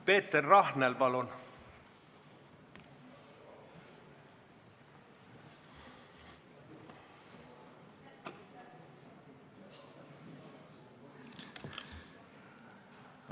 Peeter Rahnel, palun!